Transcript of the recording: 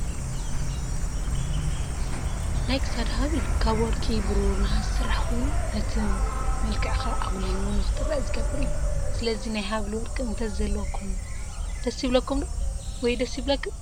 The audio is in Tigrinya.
ናይ ክሳድ ሃበል ካብ ወርቂ፣ ብሩር፣ ነሃስ ዝስራሕ ኮይኑ፤ ነቲ መልክዕኻ አጉሊሁ ንኽትርአ ዝገብር እዩ። ስለዚ ናይ ሃበል ወርቂ እንተዝህልወኩም ደስ ይብለኩም/ክን ዶ?